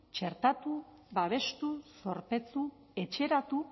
txertatu babestu zorpetu etxeratu